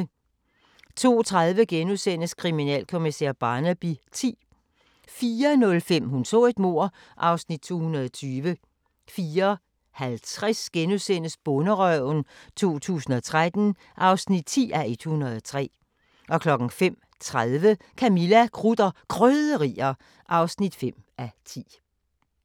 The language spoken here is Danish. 02:30: Kriminalkommissær Barnaby X * 04:05: Hun så et mord (Afs. 220) 04:50: Bonderøven 2013 (10:103)* 05:30: Camilla – Krudt og Krydderier (5:10)